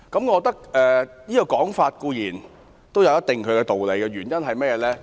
我認為這說法有一定道理，原因是甚麼？